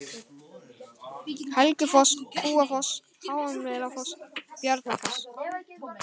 Helgufoss, Kúafoss, Háumelafoss, Bjarnafoss